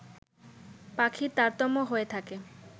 পাখির তারতম্য হয়ে থাকে